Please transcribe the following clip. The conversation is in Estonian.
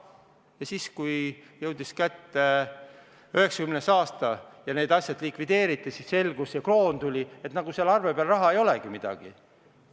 Ja kui jõudis kätte 1990. aasta, need asjad likvideeriti ja kroon tuli, siis selgus, et seal arve peal raha ei olegi midagi.